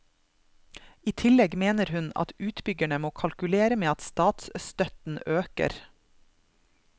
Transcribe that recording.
I tillegg mener hun at utbyggerne må kalkulere med at statsstøtten øker.